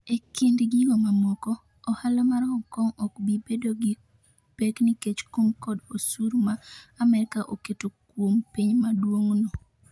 E kind gigo mamoko, ohala mar Hong Kong okbi bedo gi pek nikech kum kod osuru ma Amerka oketo kuom piny maduong'no.